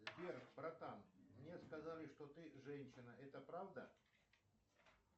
сбер братан мне сказали что ты женщина это правда